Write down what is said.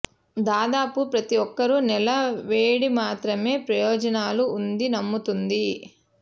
దాదాపు ప్రతి ఒక్కరూ నేల వేడి మాత్రమే ప్రయోజనాలు ఉంది నమ్ముతుంది